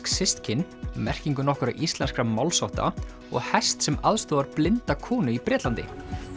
systkin merkingu nokkurra íslenskra málshátta og hest sem aðstoðar blinda konu í Bretlandi